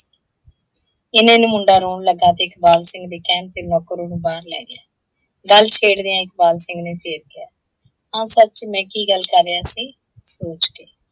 ਇੰਨੇ ਨੂੰ ਮੁੰਡਾ ਰੋਣ ਲੱਗਾ ਤੇ ਇਕਬਾਲ ਸਿੰਘ ਦੇ ਕਹਿਣ ਤੇ ਨੌਕਰ ਓਹਨੂੰ ਬਾਹਰ ਲੈ ਗਿਆ। ਗੱਲ ਛੇੜਦਿਆਂ ਇਕਬਾਲ ਸਿੰਘ ਨੇ ਫਿਰ ਕਿਹਾ, ਹਾਂ ਸੱਚ, ਮੈਂ ਕੀ ਗੱਲ ਕਰ ਰਿਹਾ ਸੀ। ਸੋਚ